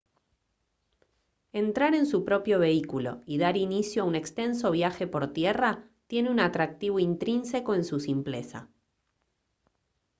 entrar en su propio vehículo y dar inicio a un extenso viaje por tierra tiene un atractivo intrínseco en su simpleza